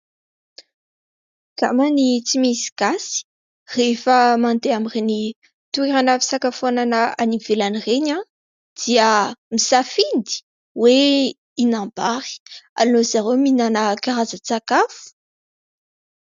Angambany tsy misy gasy, rehefa mandeha amin'ireny toeram-pisakafoanana any ivelany ireny dia misafidy ny hoe hihinam-bary. Aleon'izy ireo mihinana karazan-tsakafo.